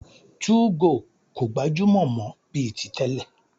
2go kò gbajúmọ̀ mọ́ bíi ti tẹ́lẹ̀.